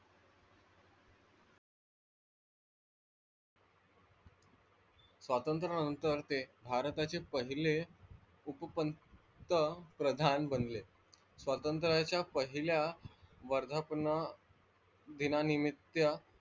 स्वातंत्र्यानंतर ते भारताचे पहिले उपपंतप्रधान बनले स्वातंत्र्याच्या पहिल्या वर्धापना दीनानानिमित्त,